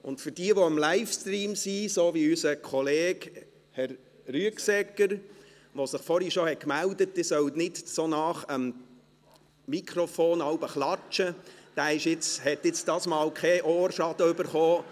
Diejenigen, die den Livestream verfolgen, wie unser Kollege Herr Rüegsegger, der sich vorhin bereits gemeldet hat, ich solle nicht so nahe am Mikrofon klatschen, haben jetzt keinen Ohrschaden davongetragen.